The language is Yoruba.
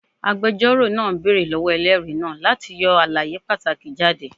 Agbẹjọro naa beere lọwọ ẹlẹri naa lati yọ alaye pataki jade